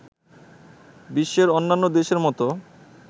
বিশ্বের অন্যান্য দেশের মতো